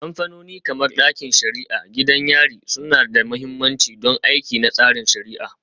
Kamfanoni kamar ɗakin shari'a, gidajen yari suna da mahimmanci don aiki na tsarin shari'a.